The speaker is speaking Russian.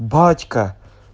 батька